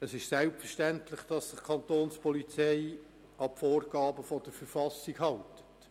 Es ist selbstverständlich, dass sich die Kapo an die Vorgaben der Verfassung hält.